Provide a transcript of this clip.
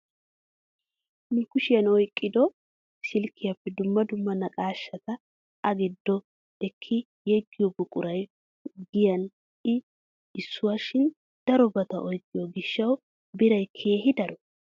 Nu kushiyaan oyqqido silkkyaappe dumma dumma naqaashshata a giddo ekki yeggiyoo buquraay giyaan i issuwaa shin darobata oyqqiyoo gishshawu biray keehi daro!